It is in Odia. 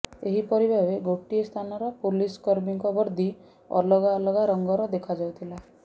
ଏହିପରି ଭାବେ ଗୋଟିଏ ସ୍ଥାନର ପୋଲିସ କର୍ମୀଙ୍କ ବର୍ଦ୍ଦି ଅଲଗା ଅଲଗା ରଙ୍ଗର ଦେଖାଯାଉଥିଲା